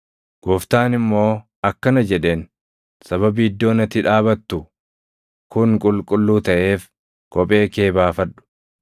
“Gooftaan immoo akkana jedheen; ‘Sababii iddoon ati dhaabatu kun qulqulluu taʼeef kophee kee baafadhu.